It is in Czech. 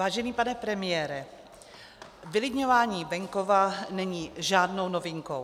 Vážený pane premiére, vylidňování venkova není žádnou novinkou.